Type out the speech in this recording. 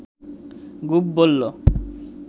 গুপ বলল